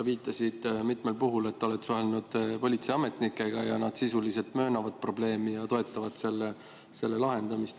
Sa viitasid mitmel puhul, et oled suhelnud politseiametnikega ja nad sisuliselt möönavad probleemi ja toetavad selle lahendamist.